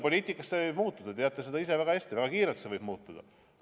Poliitikas see võib muutuda – te teate ise väga hästi, et väga kiirelt võib see muutuda.